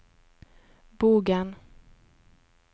Bogen